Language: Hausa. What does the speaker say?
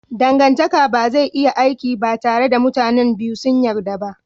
Dangantaka ba zai iya aiki ba tare da mutanen biyu sun yarda ba.